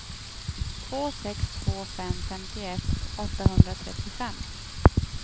två sex två fem femtioett åttahundratrettiofem